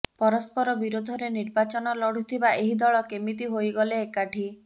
ପରସ୍ପର ବିରୋଧରେ ନିର୍ବାଚନ ଲଢୁଥିବା ଏହି ଦଳ କେମିତି ହୋଇଗଲେ ଏକାଠି